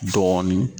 Dɔɔnin